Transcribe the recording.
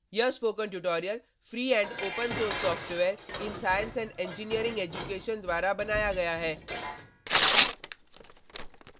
यह spoken tutorial free and open source software in science and engineering education fossee द्वारा बनाया गया है